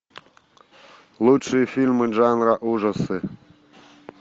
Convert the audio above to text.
лучшие фильмы жанра ужасы